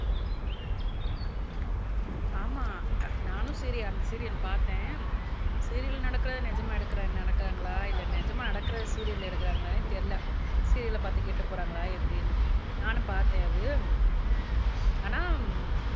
ஆமா நானும் சீரி அந்த சீரியல் பார்த்தேன் சீரியல் நடக்கிறது நிஜமா எடுக்கிற நடக்குறாங்களா இல்லை நிஜமா நடக்கறதை சீரியல் எடுக்குறாங்களான்னே தெரியலே சீரியல்ல பார்த்து கேட்டு போறாங்களா எப்படின்னு நானும் பார்த்தேன் அது ஆனா